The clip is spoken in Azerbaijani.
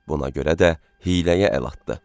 Buna görə də hiyləyə əl atdı.